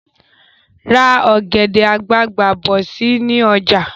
Ra ọ̀gẹ̀dẹ̀ àgbagbà bọ̀ si ni ọjà